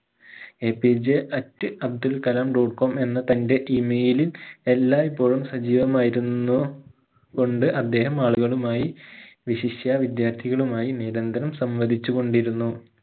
APJat Abdul Kalam dot com എന്ന തന്റെ email ലിൽ എല്ലാഴ്‌പ്പോഴും സജീവമായിരുന്നു കൊണ്ട് അദ്ദേഹം ആളുകളുമായി വിശിഷ്യാ വിദ്യാർത്ഥികളുമായി നിരന്തരം സംവദിച്ച് കൊണ്ടിരുന്നു